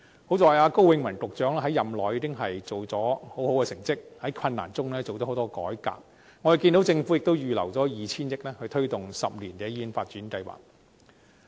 幸好，高永文局長在任內已做出很好的成績，在困難中進行了很多改革，我們看見政府已預留 2,000 億元推動10年醫院發展計劃。